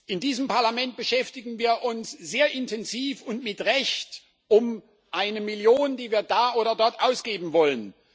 In diesem Parlament beschäftigen wir uns sehr intensiv und mit Recht damit, dass wir eine Million da oder dort ausgeben wollen.